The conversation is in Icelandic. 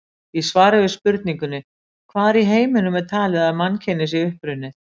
Í svari við spurningunni: Hvar í heiminum er talið að mannkynið sé upprunnið?